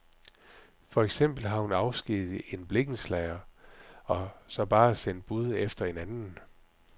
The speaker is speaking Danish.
For eksempel har hun afskediget en blikkenslager og så bare sendt bud efter en anden.